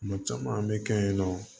Kuma caman an bɛ kɛ yen nɔ